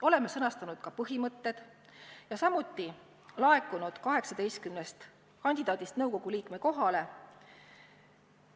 Oleme sõnastanud ka põhimõtted ja 18 kandidaadilt on laekunud avaldus nõukogu liikme kohale.